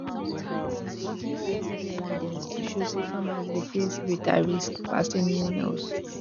but e no get any evidence to show say farmers dey face greater risk pass anyone else